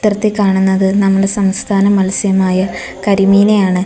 ത്രത്തിൽ കാണുന്നത് നമ്മളെ സംസ്ഥാന മത്സ്യമായ കരിമീനെയാണ്.